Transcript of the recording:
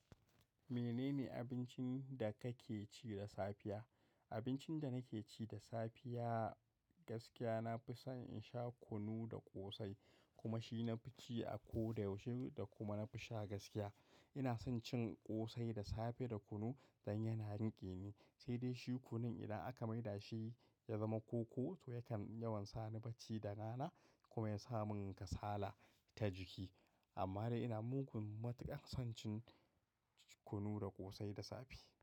Menene abincin da kake ci da safiya? Abincin da nake ci da safiya gaskiya na fi son in sha kunu da ƙosai, kuma shi na fi ci a ko da yaushe da kuma na fi sha gaskiya. Ina son cin ƙosai da safe da kunu dan yana rike ni, sai dai shi kunun idan aka maida shi ya zama koko, to yakan yawan sa ni bacci da rana ko ya sa mun kasala ta jiki. Amma dai ina mugun matuƙar son cin kunu da ƙosai da safe.